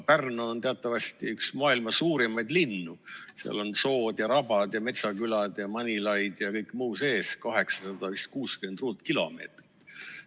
Pärnu on teatavasti üks maailma suurimaid linnu, seal on sood ja rabad ja metsakülad ja Manilaid ja kõik muu sees, vist ligi 860 km2.